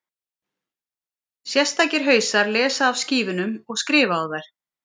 sérstakir hausar lesa af skífunum og skrifa á þær